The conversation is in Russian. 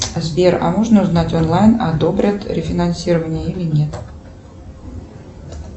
сбер а можно узнать онлайн одобрят рефинансирование или нет